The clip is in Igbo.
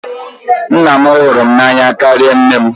Nna m hụrụ m n'anya karịa nne m.